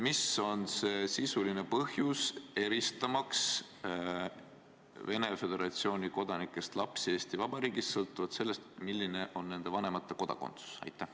Mis on see sisuline põhjus, eristamaks Venemaa Föderatsiooni kodanikest lapsi Eesti Vabariigis sõltuvalt sellest, milline on nende vanemate kodakondsus?